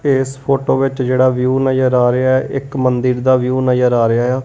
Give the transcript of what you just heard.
ਇਸ ਫੋਟੋ ਵਿੱਚ ਜਿਹੜਾ ਵਿਊ ਨਜ਼ਰ ਆ ਰਿਹਾ ਹ ਇੱਕ ਮੰਦਿਰ ਦਾ ਵਿਊ ਨਜ਼ਰ ਆ ਰਿਹਾ ਆ।